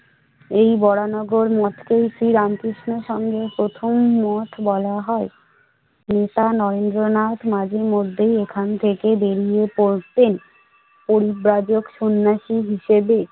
এই বরাহনগর মঠকেই শ্রী রামকৃষ্ণ এর সঙ্গে প্রথম মঠ বলা হয়। তা নরেন্দ্রনাথ মাঝে মধ্যে এখান থেকে বেরিয়ে পড়তেন পরিব্রাজক সন্ন্যাসী হিসেবে।